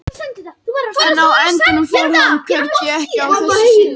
En á endanum fór hann hvergi, ekki að þessu sinni.